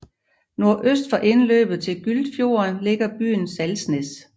Nordøst for indløbet til Gyltfjorden ligger bygden Salsnes